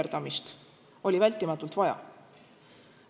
– veiderdamist oli vältimatult vaja?